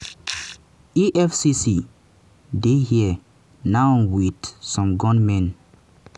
"efcc dey here now wit some gunmen.